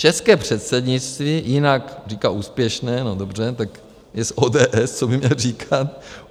České předsednictví, jinak říká úspěšné - no dobře, tak je z ODS, co by měl říkat?